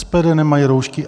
SPD nemají roušky.